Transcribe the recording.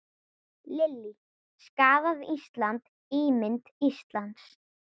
Lillý: Skaðað Ísland, ímynd Íslands?